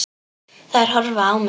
Þær horfa á mig.